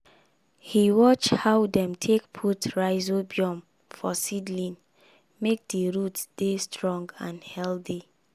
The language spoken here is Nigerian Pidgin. he watch how dem take put rhizobium for seedlings make di root dey strong and healthy.